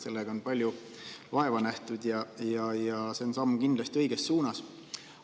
Sellega on palju vaeva nähtud ja see on kindlasti samm õiges suunas.